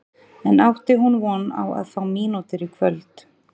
En átti hún von á að fá mínútur í kvöld?